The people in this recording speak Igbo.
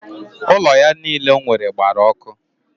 Ụlọ ya niile o nwere gbara ọkụ?